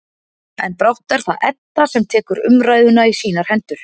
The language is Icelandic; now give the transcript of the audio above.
En brátt er það Edda sem tekur umræðuna í sínar hendur.